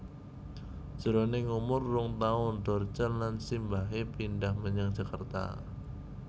Jroning umur rong taun Dorce lan simbahé pindhah menyang Jakarta